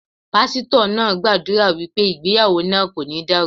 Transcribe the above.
Pásítọ̀ náà gbàdúrà wípé ìgbéyàwó náà kò ní dàrú.